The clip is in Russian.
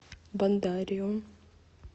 бондарем